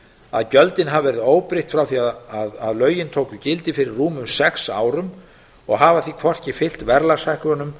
að gjöldin hafa verið óbreytt frá því að lögin tóku gildi fyrir rúmum sex árum og hafa því hvorki fylgt verðlagshækkunum